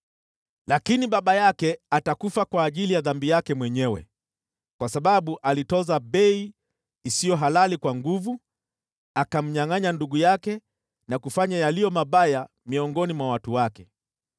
Lakini baba yake atakufa kwa ajili ya dhambi yake mwenyewe, kwa sababu alitoza bei isiyo halali kwa nguvu, akamnyangʼanya ndugu yake na kufanya yaliyo mabaya miongoni mwa watu wake.